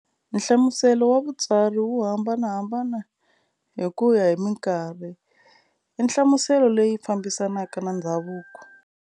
Nhlamuselo wa vutsari wu hambanahambana hi kuya hi minkarhi-i "nhlamuselo leyi fambisanaka na ndzhavuko".